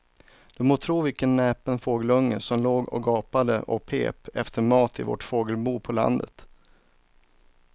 Du må tro vilken näpen fågelunge som låg och gapade och pep efter mat i vårt fågelbo på landet.